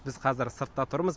біз қазір сыртта тұрмыз